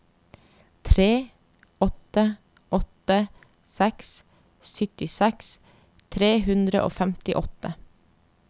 tre åtte åtte seks syttiseks tre hundre og femtiåtte